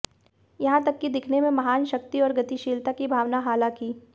यहां तक कि दिखने में महान शक्ति और गतिशीलता की भावना हालांकि